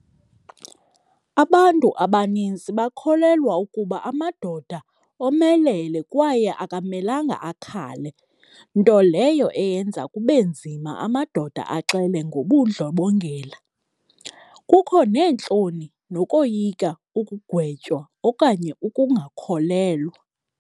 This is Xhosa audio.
Abantu abanintsi bakholelwa ukuba amadoda omelele kwaye akamelanga akhale, nto leyo eyenza kube nzima amadoda axele ngobundlobongela. Kukho neentloni, nokoyika ukugwetywa okanye ukungakholelwa.